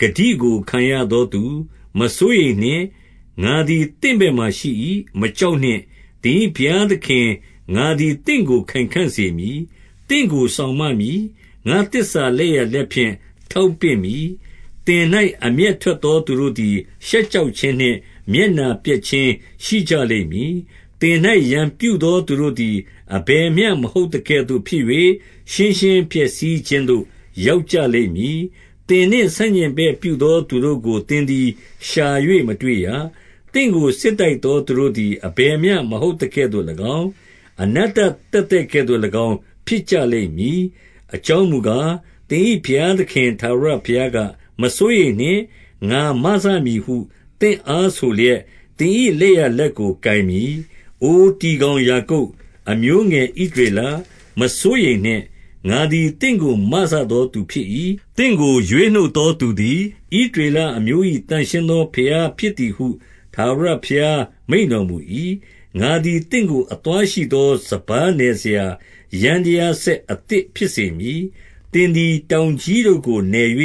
၊ ဂတိကို ခံရသောသူ၊ မစိုးရိမ်နှင့်။ ငါသည် သင့်ဘက်မှာ ရှိ၏။ မကြောက်နှင့်။ သင်၏ဘုရားသခင် ငါသည် သင့်ကို ခိုင်ခံ့ စေမည်။ သင့်ကို စောင့်မမည်။ ငါ့သစ္စာလက်ျာလက်ဖြင့် ထောက်ပင့်မည်။ သင်၌အမျက်ထွက်သော သူတို့သည် ရှက် ကြောက်ခြင်းနှင့် မျက်နှာပျက်ခြင်း ရှိကြလိမ့်မည်။ သင်၌ ရန်ပြုသော သူတို့သည် အဘယ်မျှ မဟုတ်သကဲ့သို့ ဖြစ်၍၊ ရှင်းရှင်းပျက်စီးခြင်းသို့ ရောက်ကြလိမ့်မည်။ သင်နှင့် ဆန့်ကျင်ဘက်ပြုသော သူတို့ကို သင် သည် ရှာ၍ မတွေ့ရ။ သင့်ကို စစ်တိုက်သော သူတို့သည် အဘယ်မျှ မဟုတ်သကဲ့သို့၎င်း၊ အနတ္တသက်သက်ကဲ့သို့ ၎င်း ဖြစ်ကြလိမ့်မည်။ အကြောင်းမူကား၊ သင်၏ဘုရားသခင်ထာဝရ ဘုရားက၊ မစိုးရိမ်နှင့်။ ငါမစမည်ဟု သင့်အားဆိုလျက်၊ သင်၏လက်ျာလက်ကို ကိုင်မည်။ အိုတီကောင်ယာကုပ်၊ အမျိုးငယ် ဣသရေလ၊ မစိုးရိမ်နှင့်။ ငါသည် သင့်ကို မစသော သူဖြစ်၏။ သင့်ကို ရွေးနှုတ်သောသူသည်၊ ဣသရေလအမျိုး၏ သန့်ရှင်း သော ဘုရားဖြစ်သည်ဟု ထာဝရဘုရား မိန့်တော်မူ၏။ ငါသည် သင့်ကို အသွားရှိသော စပါးနယ်စရာ ယန္တရားစက် အသစ်ဖြစ်စေမည်။ သင်သည် တောင်ကြီး တို့ကို နယ်၍